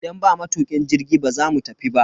Idan ba matukin jirgi, ba za mu tafi ba.